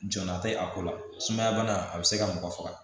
Jɔnya tɛ a ko la sumaya bana a bɛ se ka mɔgɔ faga